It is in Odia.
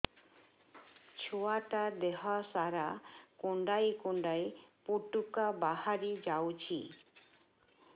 ଛୁଆ ଟା ଦେହ ସାରା କୁଣ୍ଡାଇ କୁଣ୍ଡାଇ ପୁଟୁକା ବାହାରି ଯାଉଛି